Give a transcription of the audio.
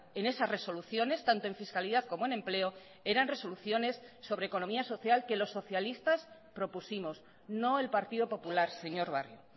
en esas resoluciones tanto en fiscalidad como en empleo eran resoluciones sobre economía social que los socialistas propusimos no el partido popular señor barrio